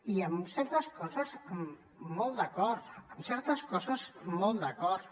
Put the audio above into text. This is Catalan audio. i en certes coses molt d’acord en certes coses molt d’acord